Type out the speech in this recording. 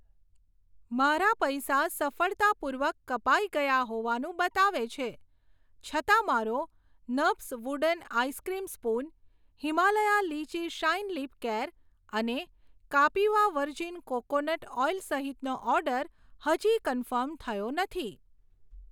મારા પૈસા સફળતાપૂર્વક કપાઈ ગયા હોવાનું બતાવે છે, છતાં મારો નભ્સ wooden ice cream spoon, Himalaya lychee shine lip care અને કાપીવા વર્જીન કોકોનટ ઓઈલ સહિતનો ઓર્ડર હજી કન્ફર્મ થયો નથી.